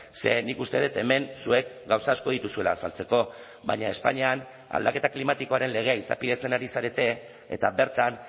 ze nik uste dut hemen zuek gauza asko dituzuela azaltzeko baina espainian aldaketa klimatikoaren legea izapidetzen ari zarete eta bertan